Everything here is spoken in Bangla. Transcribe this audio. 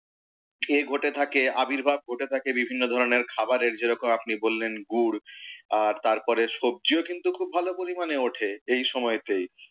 এ ঘটে থাকে, আবির্ভাব ঘটে থাকে বিভিন্ন ধরণের খাবারের যেরকম আপনি বললেন গুঁড়, আর তারপরে সব্জিও কিন্তু খুব ভালো পরিমাণে ওঠে, এই সময়তেই।